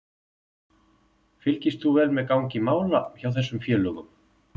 Fylgist þú vel með gangi mála hjá þessum félögum?